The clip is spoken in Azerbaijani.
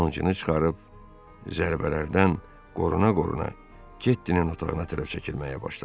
Qılıncını çıxarıb zərbələrdən qoruna-qoruna Ketdinin otağına tərəf çəkilməyə başladı.